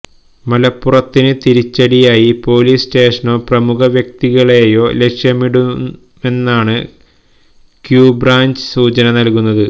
മലപ്പുറത്തിന് തിരിച്ചടിയായി പോലീസ് സ്റ്റേഷനോ പ്രമുഖ വ്യക്തികളെയോ ലക്ഷ്യമിടുമെന്നാണ് ക്യൂബ്രാഞ്ച് സൂചന നല്കുന്നത്